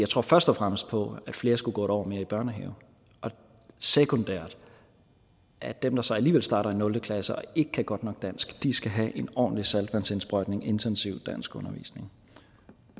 tror først og fremmest på at flere skulle gå et år mere i børnehave og sekundært at dem der så alligevel starter i nul klasse og ikke kan godt nok dansk skal have en ordentlig saltvandsindsprøjtning af intensiv danskundervisning